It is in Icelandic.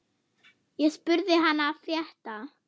Ég spurði hana frétta.